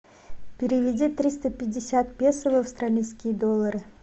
переведи триста пятьдесят песо в австралийские доллары